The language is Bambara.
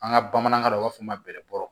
An ka bamanankan na u b'a fɔ ma bɛrɛbɔ